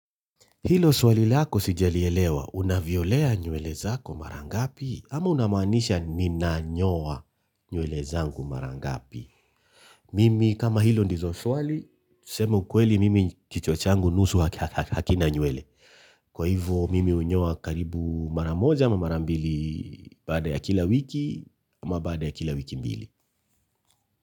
Hilo swali lako sijalielewa unavyolea nywele zako mara ngapi ama unamaanisha ninanyoa nywele zangu mara ngapi. Mimi kama hilo ndizo swali, kusema ukweli mimi kichwa changu nusu hakina nywele. Kwa hivyo mimi hunyoa karibu mara moja ama mara mbili baada ya kila wiki ama baada ya kila wiki mbili.